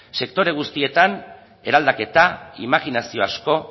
sektore guztietan eraldaketa imajinazio asko